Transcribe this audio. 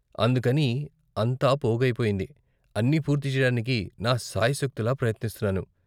అందుకని అంతా పోగైపోయింది, అన్ని పూర్తి చేయడానికి నా శాయశక్తులా ప్రయత్నిస్తున్నాను.